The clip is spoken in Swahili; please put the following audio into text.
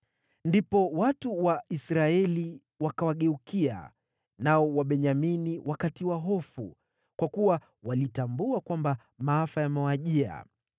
Ndipo watu wa Israeli wakawageukia, nao Wabenyamini wakatiwa hofu, kwa kuwa walitambua kwamba maafa yamewajia.